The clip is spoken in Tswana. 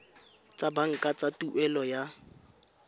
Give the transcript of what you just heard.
tsa banka tsa tuelo ya